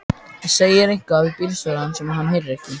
Segir eitthvað við bílstjórann sem hann heyrir ekki.